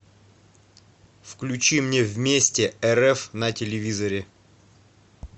включи мне вместе рф на телевизоре